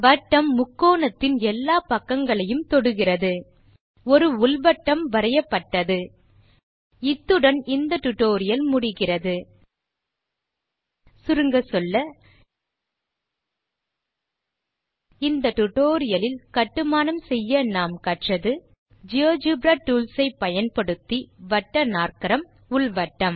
வட்டம் முக்கோணத்தின் எல்லா பக்கங்களையும் தொடுகிறது ஒரு உள் வட்டம் வரையப்பட்டது இத்துடன் இந்த டியூட்டோரியல் முடிகிறது சுருங்கச்சொல்ல இந்த டுடோரியலில் கட்டுமானம் செய்ய நாம் கற்றது ஜியோஜெப்ரா டூல்ஸ் ஐ பயன்படுத்தி வட்டநாற்கரம் உள் வட்டம்